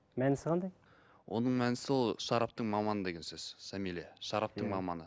мәнісі қандай оның мәнісі ол шараптың маманы деген сөз самилия шараптың маманы